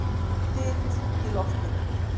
Þyt í loftinu!